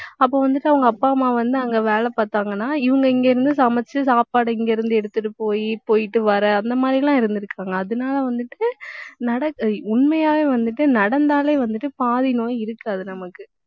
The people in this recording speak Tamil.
அப்ப வந்துட்டு அவங்க அப்பா, அம்மா வந்து அங்க வேலை பார்த்தாங்கன்னா, இவங்க இங்க இருந்து சமைச்சு சாப்பாடு, இங்கிருந்து எடுத்துட்டு போயி, போயிட்டு வர, அந்த மாதிரி எல்லாம் இருந்திருக்காங்க. அதனால வந்துட்டு நட~ உண்மையாவே வந்துட்டு நடந்தாலே வந்துட்டு பாதி நோய் இருக்காது நமக்கு